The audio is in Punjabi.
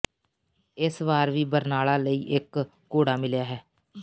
ਇਸ ਵਾਰ ਵੀ ਬਰਨਾਲਾ ਲਈ ਇਕ ਘੋੜਾ ਮਿਲਿਆ ਹੈ